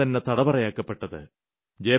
രാജ്യംതന്നെ തടവറ ആക്കപ്പെട്ടത്